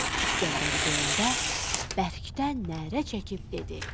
İsgəndəri görəndə bərkdən nərə çəkib dedi: